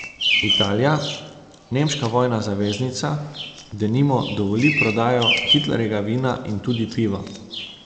Italija, nemška vojna zaveznica, denimo dovoli prodajo Hitlerjevega vina in tudi piva.